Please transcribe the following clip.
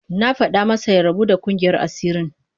Na fada masa ya rabu da kungiyar asirin